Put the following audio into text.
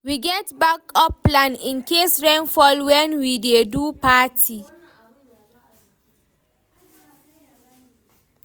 We get backup plan incase rain fall wen we dey do di party.